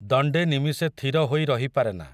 ଦଣ୍ଡେ ନିମିଷେ ଥିରହୋଇ ରହିପାରେନା ।